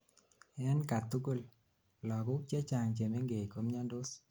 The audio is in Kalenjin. en katugul: lagok chechang chemengech komiandos